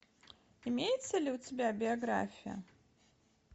имеется ли у тебя биография